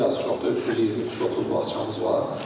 Bir az çox da 320, 323 bağçamız var.